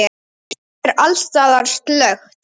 Það er alls staðar slökkt.